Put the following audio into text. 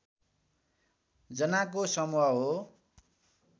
जनाको समूह हो